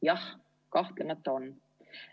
Jah, kahtlemata on.